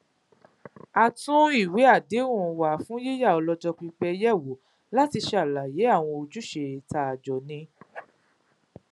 a tún ìwé àdéhùn wa fún yíyá ọlọjọ pípẹ yèwò láti ṣàlàyé àwọn ojúṣe tá a jọ ní